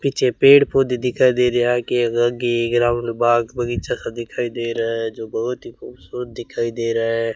पीछे पेड़ पौधे दिखाई दे रहा है आगे ग्राउंड बाग बगीचा सा दिखाई दे रहा है जो बहोत ही खूबसूरत दिखाई दे रहा है।